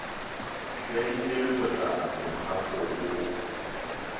hleng le lebota mokgako wo